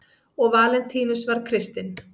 og valentínus var kristinn